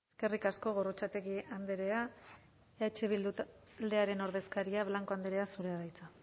eskerrik asko gorrotxategi andrea eh bildu taldearen ordezkaria blanco andrea zurea da hitza